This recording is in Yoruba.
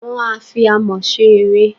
Wọ́n a fi Amọ̀ ṣe ère.